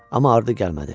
Amma ardı gəlmədi.